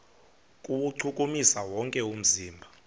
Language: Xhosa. kuwuchukumisa wonke umzimba